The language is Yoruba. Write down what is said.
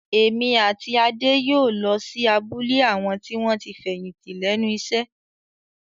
Èmi àti Adé yóò lọ sí abúlé àwọn tí wọ́n ti fẹ̀yìntì lẹ́nu iṣẹ́